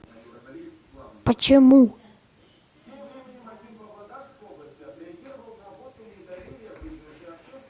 почему